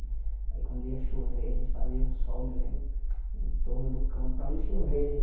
Aí quando ia chover, a gente fazia um sol, me lembro, em torno do campo para não chover.